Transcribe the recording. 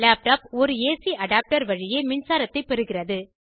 laptop ஒரு AC adapter வழியே மின்சாரத்தைப் பெறுகிறது